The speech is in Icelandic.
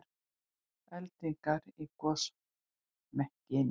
Eldingar í gosmekkinum